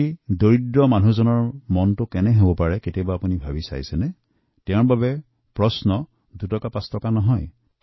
ইয়াৰ ফলত দুখীয়া লোকৰ মনত কি হয় সেয়া কেতিয়াবা ভাবি চাইছেন আপুনি তাৰ বাবে বিষয়টো দুটকাপাঁচটকাৰ নহয়